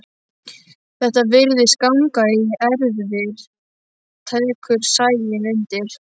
Þetta virðist ganga í erfðir, tekur Sæunn undir.